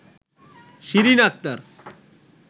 Shirin Akter